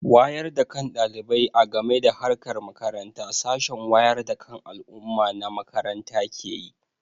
Wayar da kan ɗalibai a game da harkar makaranta sashen wayar da kan al'umma na makaranta ke yi.